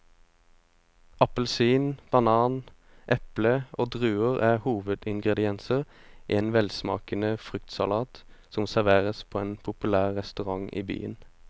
Appelsin, banan, eple og druer er hovedingredienser i en velsmakende fruktsalat som serveres på en populær restaurant i byen.